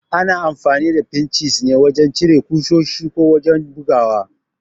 Ana amfani da Finchis ne wajan cire ƙusoshi ko wajan bugawa